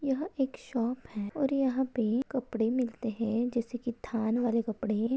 यहाँ एक शॉप है और यहाँ पे कपड़े मिलते हैं जैसे की थान वाले कपड़े--